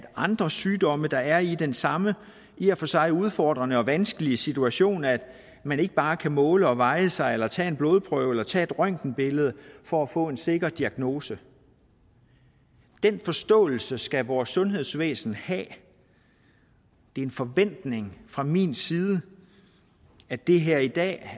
andre sygdomme der er i den samme i og for sig udfordrende og vanskelige situation at man ikke bare kan måle og veje sig eller tage en blodprøve eller tage et røntgenbillede for at få en sikker diagnose den forståelse skal vores sundhedsvæsen have det er en forventning fra min side at det her i dag